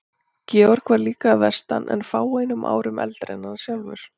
Georg var líka að vestan en fáeinum árum eldri en hann sjálfur.